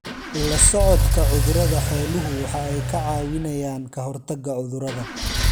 La socodka cudurada xooluhu waxa ay ka caawinayaan ka hortagga cudurrada.